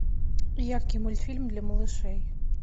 яркий мультфильм для малышей